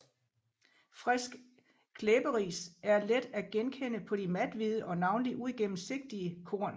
Frisk klæberis er let at genkende på de mathvide og navnlig uigennemsigtige korn